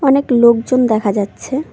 অনেক লোকজন দেখা যাচ্ছে।